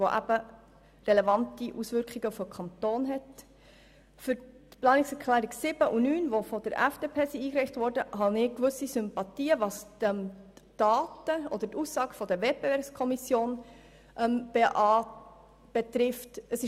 Für die Planungserklärungen 7 und 9 von der FDP hege ich gewisse Sympathien bezüglich der Aussagen zur WEKO.